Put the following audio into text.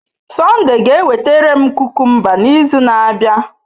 Sunday ga-ewetara m kukumba n'izu na-abịa.